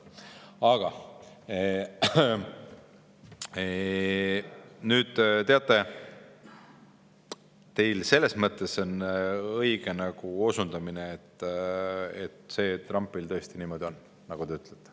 Aga nüüd, teate, teil selles mõttes on õige osundus, et Trumpiga tõesti niimoodi on, nagu te ütlete.